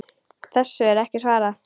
Þessu er ekki svarað.